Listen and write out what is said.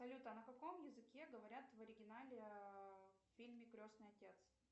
салют а на каком языке говорят в оригинале в фильме крестный отец